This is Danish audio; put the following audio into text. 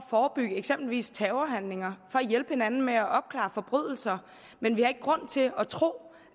forebygge eksempelvis terrorhandlinger og hjælpe hinanden med at opklare forbrydelser men vi har ikke grund til at tro